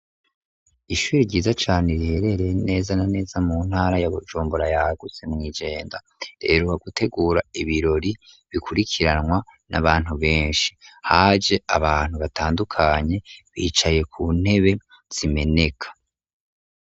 Ishuri ryiza cane riherereye neza na neza mu ntara yabojumbora yaguse mu igenda reroha gutegura ibirori bikurikiranwa n'abantu benshi haje abantu batandukanye bicaye ku ntebe simenek.